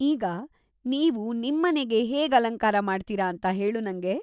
ಈಗ, ನೀವು ನಿಮ್ಮನೆಗೆ ಹೇಗ್ ಅಲಂಕಾರ ಮಾಡ್ತೀರ ಅಂತ ಹೇಳು ನಂಗೆ.